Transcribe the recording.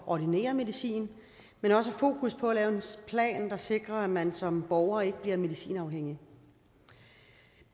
at ordinere medicinen men også har fokus på at lave en plan der sikrer at man som borger ikke bliver medicinafhængig